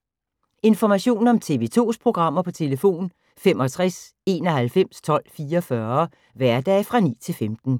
Information om TV 2's programmer: 65 91 12 44, hverdage 9-15.